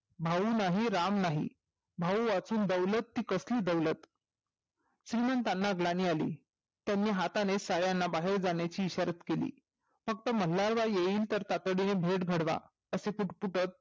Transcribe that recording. भाऊ नाही राम नाही भाऊ असून कसली दौलत श्रीमंतांना ज्ञानी अली त्यांनी हातानी सर्वाना बाहेर जाण्याची इशारत केलीं फक्त मल्हार बाई येईल तर तातडीने घडवा